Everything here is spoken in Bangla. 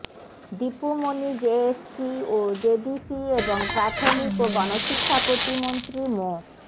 দীপু মনি জেএসসি ও জেডিসি এবং প্রাথমিক ও গণশিক্ষা প্রতিমন্ত্রী মো